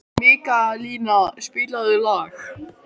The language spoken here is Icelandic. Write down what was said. Mikaelína, spilaðu lag.